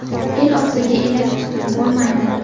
El og‘ziga elak tutib bo‘lmaydi.